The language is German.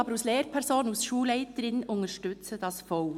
Ich als Lehrperson und Schulleiterin unterstütze dies aber voll.